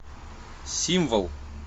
символ